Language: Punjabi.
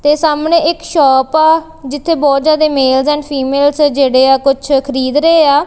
ਤੇ ਸਾਹਮਣੇ ਇੱਕ ਸ਼ੌਪ ਆ ਜਿੱਥੇ ਬੋਹੁਤ ਜਿਆਦਾ ਮੇਲਸ ਐਂਡ ਫਿਮੇਲਸ ਜੇਹੜੇਆ ਕੁੱਛ ਖ਼ਰੀਦ ਰਹੇ ਆ।